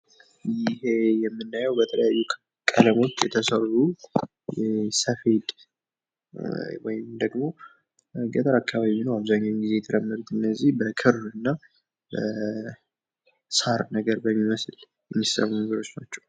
ይሄ የምናየው በተለያዩ ቀለሞች የተሰሩ ሰፌድ ወይም ደግሞ ገጠር አካባቢ የሚኖር አብዛኛውን ጊዜ የተለመደ እነዚህ በክር እና ሳር ነገር በሚመስል የሚሰሩ ነገሮች ናቸው::